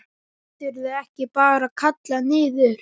Geturðu ekki bara kallað niður?